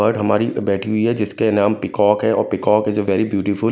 Bird हमारी बैठी हुई है जिसके नाम पीकॉक है और peacock is a very beautiful.